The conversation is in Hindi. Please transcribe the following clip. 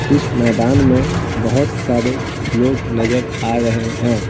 इस मैदान में बहुत सारे लोग नजर आ रहे हैं।